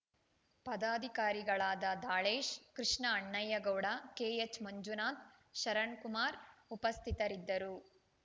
ಪದಾಧಿಕಾರಿಗಳಾದ ದಾಳೇಶ್‌ ಕೃಷ್ಣ ಅಣ್ಣಯ್ಯಗೌಡ ಕೆಎಚ್‌ಮಂಜುನಾಥ್‌ ಶರಣ್‌ಕುಮಾರ್‌ ಉಪಸ್ಥಿತರಿದ್ದರು